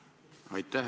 Aitäh!